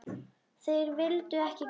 Þeir vildu ekki kaupa.